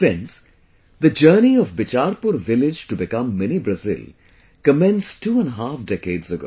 Friends, The journey of Bichharpur village to become Mini Brazil commenced twoandahalf decades ago